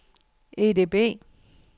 EDB